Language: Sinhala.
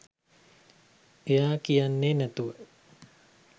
එයා කියන්නෙ නැතුව